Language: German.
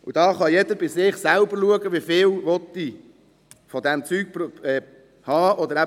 Jeder kann bei sich selber schauen, wieviele solche Dinge er haben will, und ob er es überhaupt will.